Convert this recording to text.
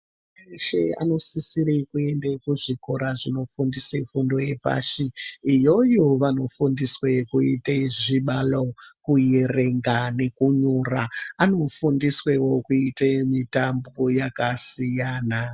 ...weshe anosisire kuende kuzvikora zvinofundise fundo yepashi. Iyoyo vanofundiswe kuite zvibalo, kuerenga nekunyora. Anofundiswewo kuite mitambo yakasiyana.